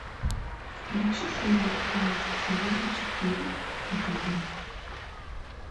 включи серию тринадцать сезона четыре викинги